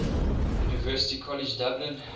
university college dublin